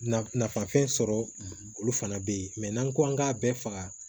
Nafanfɛn sɔrɔ olu fana bɛ yen mɛ n'an ko k'an k'a bɛɛ faga